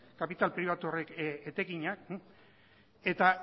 kapital pribatu horrek etekinak eta